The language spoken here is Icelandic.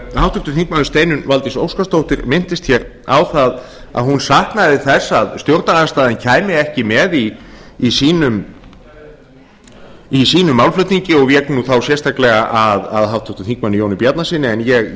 háttvirtu þingmenn steinunn valdís óskarsdóttir minntist hér á að hún saknaði þess að stjórnarandstaðan kæmi ekki með í sínum málflutningi og vék þá sérstaklega að háttvirtum þingmanni jóni bjarnasyni en